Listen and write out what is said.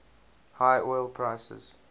high oil prices